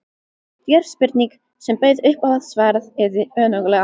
Djörf spurning, sem bauð upp á að svarað yrði önuglega.